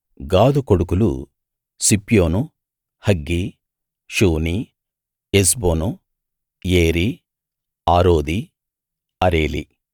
గాదు కొడుకులు సిప్యోను హగ్గీ షూనీ ఎస్బోను ఏరీ ఆరోదీ అరేలీ